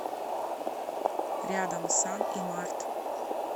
рядом сан и март